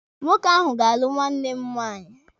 Nwoke ahụ ga-alụ nwanne m nwaanyị.